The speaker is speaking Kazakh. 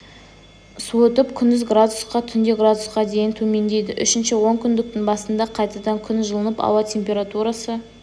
суытып күндіз градусқа түнде градусқа дейін төмендейді үшінші онкүндіктің басында қайтадан күн жылынып ауа температурасы